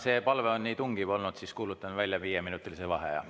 Kuna see palve on nii tungiv olnud, siis kuulutan välja viieminutilise vaheaja.